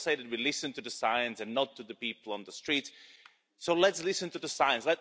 We all say that we listen to the science and not to the people on the street, so let's listen to the science.